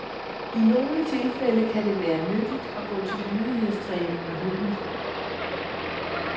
I nogle tilfælde kan det være nyttigt at gå til lydighedstræning med hunden.